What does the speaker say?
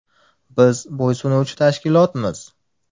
Biz bo‘ysunuvchi tashkilotmiz.